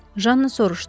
Janna soruşdu.